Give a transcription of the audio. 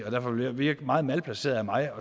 og derfor vil det virke meget malplaceret af mig